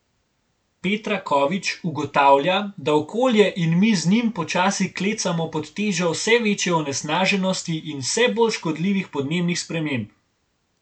Petra Kovič ugotavlja, da okolje in mi z njim počasi klecamo pod težo vse večje onesnaženosti in vse bolj škodljivih podnebnih sprememb.